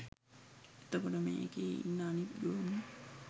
එතකොට මේකෙ ඉන්න අනිත් ගොන්නු